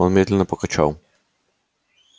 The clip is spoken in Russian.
он медленно покачал